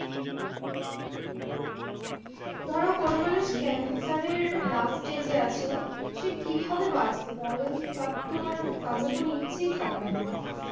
ধরো কোনো মানুষ cancer এর last stage এ আছে সে কি ভাবে বাঁচবে তাহলে? তার তো আর বাঁচার কোনো ইচ্ছেই থাকবে না আর।